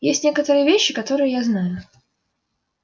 есть некоторые вещи которые я знаю